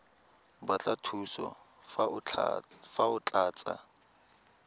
batla thuso fa o tlatsa